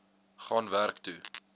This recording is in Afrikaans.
gaan werk toe